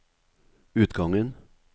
utgangen